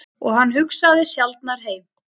Og hann hugsaði sjaldnar heim.